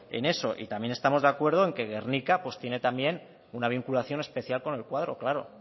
en eso y también estamos de acuerdo en que gernika pues tiene también una vinculación especial con el cuadro claro